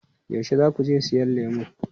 Yaushe za ku je siyan lemu?